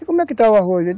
E como é que está o arroz?